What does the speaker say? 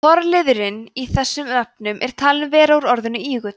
forliðurinn í þessum nöfnum er talinn vera úr orðinu ígull